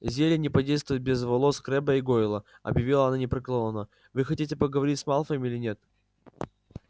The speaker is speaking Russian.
зелье не подействует без волос крэбба и гойла объявила она непреклонно вы хотите говорить с малфоем или нет